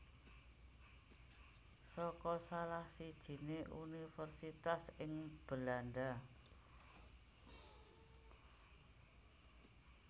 saka salah sijiné universitas ing Belanda